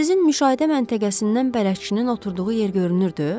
Sizin müşahidə məntəqəsindən bələqçinin oturduğu yer görünürdü?